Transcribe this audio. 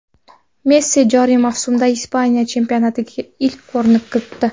Messi joriy mavsumda Ispaniya chempionatidagi ilk golini kiritdi.